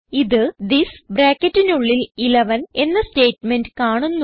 ഇത് തിസ് ബ്രാക്കറ്റിനുള്ളിൽ 11 എന്ന സ്റ്റേറ്റ്മെന്റ് കാണുന്നു